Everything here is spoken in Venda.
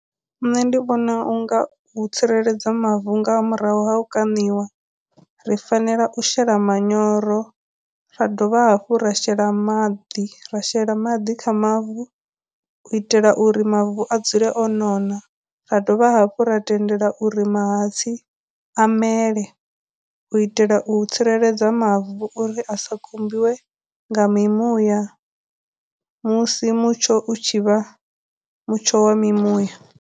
Nṋe ndi vhona unga hu tsireledzwa mavu nga murahu ha u kaniwa, ri fanela u shela manyoro, ra dovha hafhu ra shela maḓi, ra shela maḓi kha mavu u itela uri mavu a dzule o nona, ra dovha hafhu ra tendela uri mahatsi u itela u tsireledza mavu uri a sa khumbiwe nga mimuya musi mutsho u tshi vha mutsho wa mimuya.